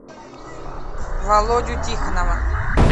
володю тихонова